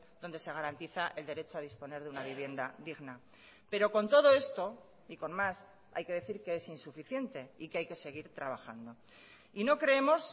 donde se garantiza el derecho a disponer de una vivienda digna pero con todo esto y con más hay que decir que es insuficiente y que hay que seguir trabajando y no creemos